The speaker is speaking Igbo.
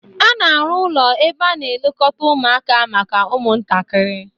A na-arụ ụlọ ebe a na-elekọta ụmụaka maka ụmụntakịrị